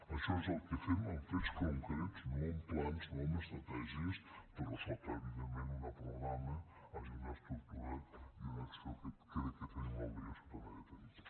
això és el que fem amb fets concrets no amb plans no amb estratègies però sota evidentment una estructura i una acció que crec que tenim l’obligació també de tenir